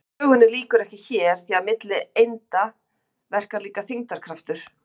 Sögunni lýkur ekki hér því að milli einda verkar líka þyngdarkraftur.